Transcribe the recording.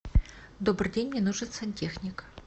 добрый день мне нужен сантехник